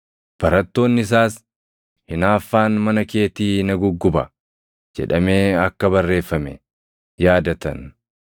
Barattoonni isaas, “Hinaaffaan mana keetii na gugguba” + 2:17 \+xt Far 69:9\+xt* jedhamee akka barreeffame yaadatan.